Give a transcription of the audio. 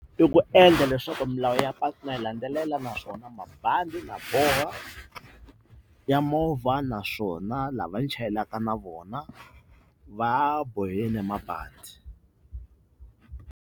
I ku endla leswaku milawu ya patu na yi landzelela naswona mabandi na boha ya movha naswona lava chayelaka na vona va bohile mabandi.